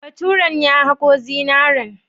Baturen ya haƙo zinaren?